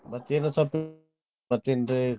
ಮತ್ತೇನ್ ಮತ್ತೇನ್ರೀ.